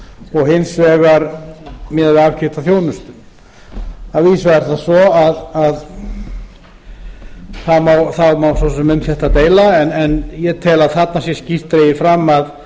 og hins vegar miðað við aðkeypta þjónustu að vísu er það svo það má svo sem um þetta deila en ég tel að þarna sé skýrt dregið fram að